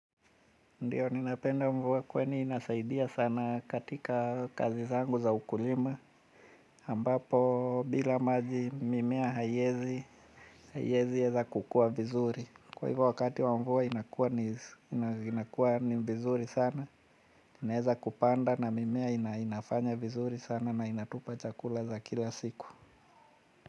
Ndiyo, ninapenda mvua kwani inasaidia sana katika kazi zangu za ukulima. Ambapo, bila maji mimea haiezi, haiezi heza kukua vizuri. Kwa hivyo wakati wa mvua inakuwa ni vizuri sana, inaweza kupanda na mimea inafanya vizuri sana na inatupa chakula za kila siku.